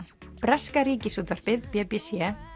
breska Ríkisútvarpið b b c